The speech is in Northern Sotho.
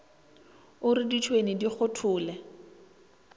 o re ditšhwene di kgothole